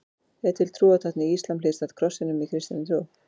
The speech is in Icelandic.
Er til trúartákn í íslam hliðstætt krossinum í kristinni trú?